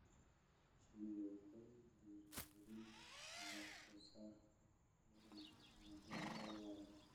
Shinnidu waxay dhiirigelin kartaa wax-soo-saarka dalagga oo waara.